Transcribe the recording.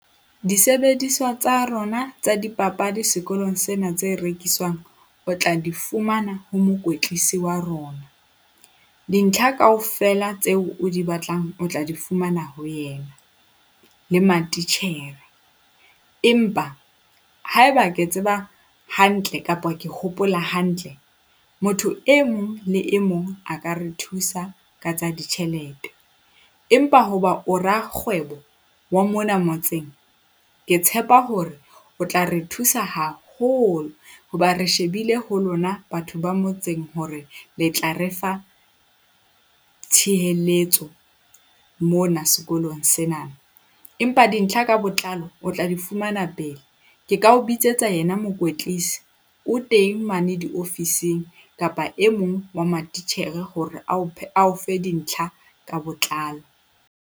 Disebediswa tsa rona tsa dipapadi sekolong sena tse rekiswang o tla di fumana ho mokwetlise wa rona. Dintlha kaofela tseo o di batlang o tla di fumana ho yena le matitjhere. Empa haeba ke tseba hantle kapa ke hopola hantle, motho e mong le e mong a ka re thusa ka tsa ditjhelete empa hoba o rakgwebo wa mona motseng, ke tshepa hore o tla re thusa haholo hoba re shebile ho lona batho ba motseng hore le tla re fa mona sekolong sena. Empa dintlha ka botlalo o tla di fumana pele. Ke ka o bitsetsa yena mokwetlisi. O teng mane diofising kapa e mong wa matitjhere, hore ao ao fe dintlha ka botlalo.